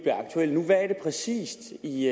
præcis i